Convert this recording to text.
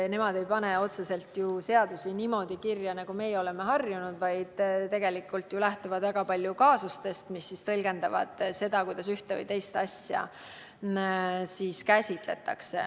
Nemad ei pane ju otseselt seadusi niimoodi kirja, nagu meie oleme harjunud, vaid lähtuvad väga palju kaasustest, mis tõlgendavad seda, kuidas ühte või teist asja käsitletakse.